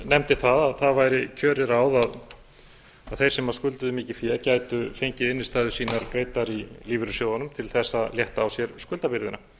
nefndi það að það væri kjörið ráð að þeir sem skulduðu mikið fé gætu fengið innstæður sínar greiddar í lífeyrissjóðunum til þess að létta á sér skuldabyrðina